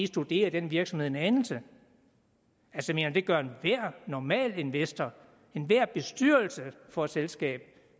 studeret den virksomhed en anelse det gør enhver normal investor enhver bestyrelse for et selskab